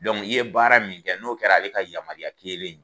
Dɔnku i ye baara min kɛ n'o kɛra a le ka yamaruya kelen ye